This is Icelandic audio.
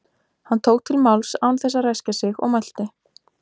Hann tók til máls án þess að ræskja sig og mælti